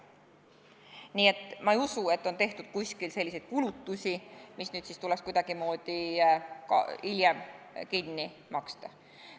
Nii et ma ei usu, et on tehtud kuskil selliseid kulutusi, mis nüüd tuleks kuidagimoodi hiljem kinni maksta.